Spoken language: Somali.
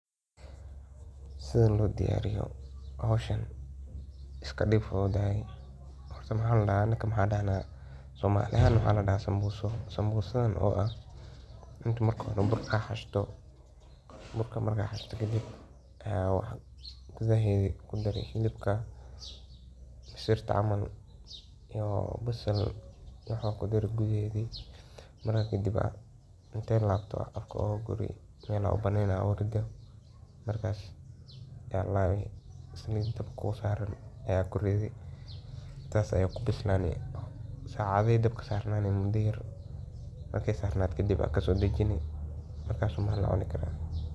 Si howsha loo diyaariyo si habboon, waxaa muhiim ah in marka hore la fahmo ujeedada howsha iyo waxa laga filayo. Kadib, waa in la sameeyo qorshe cad oo qeexaya talaabooyinka la raacayo, waqtiga loo baahan yahay, iyo agabka loo adeegsanayo. Qorsheynta ka dib, shaqaalaha ama qofka howsha qabanaya waa inuu si taxaddar leh u ururiyaa dhammaan macluumaadka iyo qalabka loo baahan yahay.